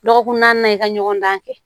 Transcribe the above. Dɔgɔkun naani i ka ɲɔgɔn dan kɛ